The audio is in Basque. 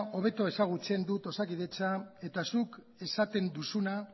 hobeto ezagutzen dut osakidetza eta zuk esaten duzuna